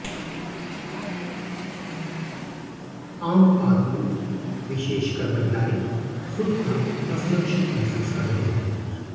आम आदमी विशेषकर महिलाएं खुद को असुरक्षित महसूस कर रही हैं